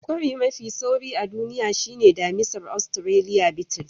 Kwari mafi sauri a duniya shine damisar Australiya Beetle.